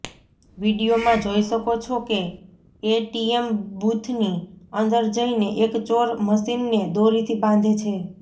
વિડીયોમાં જોઈ શકો છો કે એટીએમ બૂથની અંદર જઈને એક ચોર મશીનને દોરીથી બાંધે છે